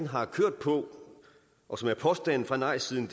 har kørt på og som er påstanden fra nejsiden